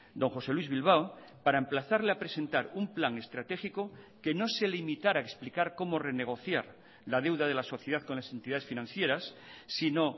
don josé luis bilbao para emplazarle a presentar un plan estratégico que no se limitara a explicar cómo renegociar la deuda de la sociedad con las entidades financieras sino